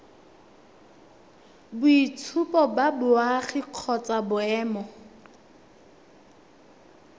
boitshupo ba boagi kgotsa boemo